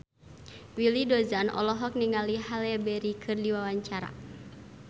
Willy Dozan olohok ningali Halle Berry keur diwawancara